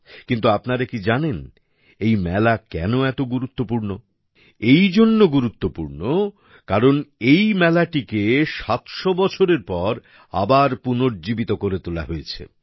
কিন্তু আপনারা কি জানেন এই মেলা কেন এত গুরুত্বপূর্ণ এই জন্য গুরুত্ব পূর্ণ কারণ বিশেষ এই জন্য কারণ এই মেলাটিকে ৭০০ বছরের পর আবার পুনর্জীবিত করে তোলা হয়েছে